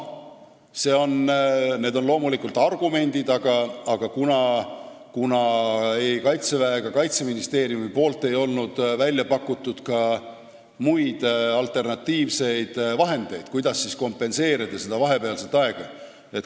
Need on muidugi argumendid, aga ei Kaitsevägi ega Kaitseministeerium ei olnud välja pakkunud muid lahendusi, kuidas siis kompenseerida seda vahepealset aega.